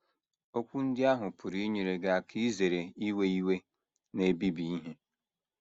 Okwu ndị ahụ pụrụ inyere gị aka izere iwe iwe na - ebibi ihe um.